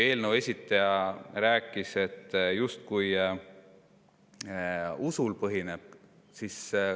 Eelnõu esitaja rääkis sellest, mis põhineb justkui usul.